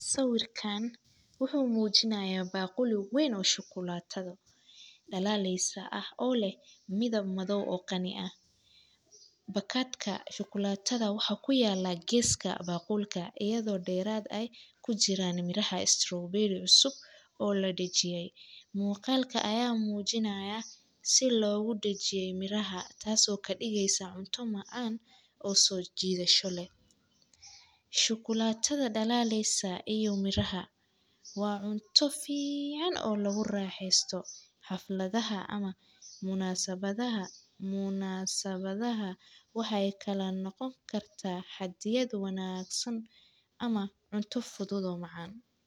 Saawirkaan wuxuu muujinayaa baqul wayn oo shuklaata dhalalaysa ah oo leh midab madow oo qani ah. Bakadka shuklaattada waxaa ku yaala geeska baqulka iyadoo dheeraad ay ku jiraan miraha strawberry ucusuub oo la dhajiye. Muuqaalka ayaa muujinaya si loogu dhajiye miraha taasoo ka dhigaysa cunto macaan oo soo jiidasho leh. Shukulaatada dhalalaysa iyo miraha waa cunto fiican oo lagu raaxeesto xafladaha ama munasabadaha. Munasabadaha waxay kala noqon kartaa xaddiyadu wanaagsan ama cunto fudud oo macaan.